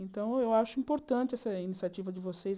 Então, eu acho importante essa iniciativa de vocês.